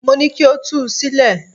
Mo ní kí o tú u sílẹ̀!